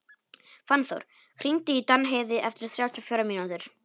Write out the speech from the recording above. Fannþór, hringdu í Danheiði eftir þrjátíu og fjórar mínútur.